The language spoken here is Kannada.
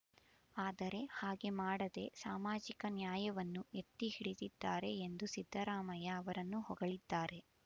ಆದರೆ ಹಾಗೆ ಮಾಡದೆ ಸಾಮಾಜಿಕ ನ್ಯಾಯವನ್ನು ಎತ್ತಿಹಿಡಿದಿದ್ದಾರೆ ಎಂದು ಸಿದ್ದರಾಮಯ್ಯ ಅವರನ್ನು ಹೊಗಳಿದ್ದಾರೆ